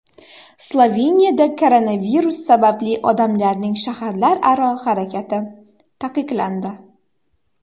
Sloveniyada koronavirus sababli odamlarning shaharlararo harakati taqiqlandi.